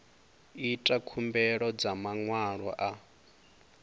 ita khumbelo dza maṅwalo a